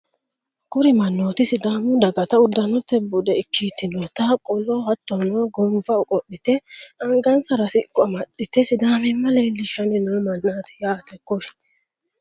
Kuri mannooti sidaamu dagata uddanote bude ikkitinota qolo hattono gonfa qodhite angansara siqqo amaxxite sidaamimma leellishshanni noo mannaati yaate kuri